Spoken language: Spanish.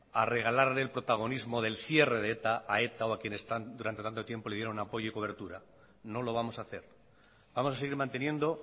a regalarle el protagonismo del cierre de eta a eta o a quienes están durante tanto tiempo le dieron apoyo y cobertura no lo vamos a hacer vamos a seguir manteniendo